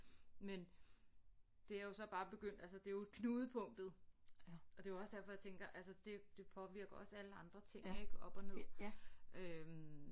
Men det er jo så bare begyndt altså det er jo knudepunktet og det var også derfor jeg tænker altså det det påvirker også alle ting ik op og ned øh